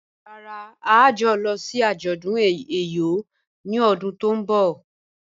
Rárá, à yóò lọ̀ sí ajọ̀dún Eyọ̀ ni ọ̀dún tó nbọ̀